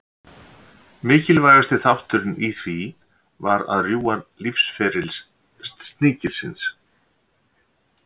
Mikilvægasti þátturinn í því var að rjúfa lífsferil sníkilsins.